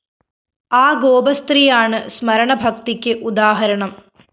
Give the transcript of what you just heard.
ആ ഗോപസ്ത്രീയാണ് സ്മരണഭക്തിക്ക് ഉദാഹരണം